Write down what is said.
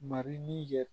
Mariin yɛrɛ